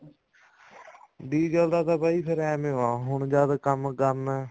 diesel ਦਾ ਤਾਂ ਬਾਈ ਫ਼ੇਰ ਏਵੇਂ ਆ ਹੁਣ ਜਦ ਕੰਮ ਕਰਨਾ ਹੈ